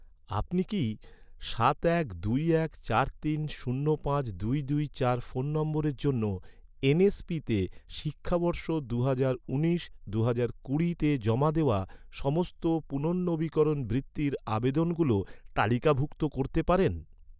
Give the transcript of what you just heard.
আপনি কি, সাত এক দুই এক চার তিন শূন্য পাঁচ দুই দুই চার ফোন নম্বরের জন্য, এন.এস.পিতে শিক্ষাবর্ষ দুহাজার উনিশ দুহাজার কুড়িতে জমা দেওয়া, সমস্ত পুনর্নবীকরণ বৃত্তির আবেদনগুলো তালিকাভুক্ত করতে পারেন?